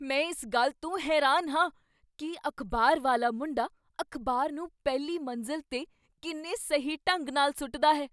ਮੈਂ ਇਸ ਗੱਲ ਤੋਂ ਹੈਰਾਨ ਹਾਂ ਕੀ ਅਖ਼ਬਾਰ ਵਾਲਾ ਮੁੰਡਾ ਅਖ਼ਬਾਰ ਨੂੰ ਪਹਿਲੀ ਮੰਜ਼ਲ 'ਤੇ ਕਿੰਨੇ ਸਹੀ ਢੰਗ ਨਾਲ ਸੁੱਟਦਾ ਹੈ।